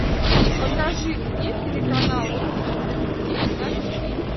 покажи мне телеканал русский детектив на тв